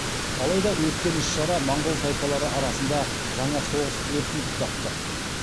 алайда өткен іс шара монғол тайпалары арасында жаңа соғыс өртін тұтатты